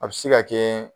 A bɛ se ka kɛ